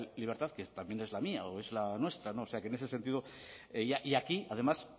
libertad que también es la mía o es la nuestra o sea que en ese sentido y aquí además